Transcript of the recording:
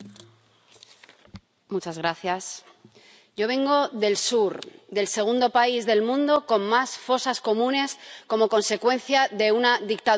Señora presidenta, yo vengo del sur, del segundo país del mundo con más fosas comunes como consecuencia de una dictadura fascista.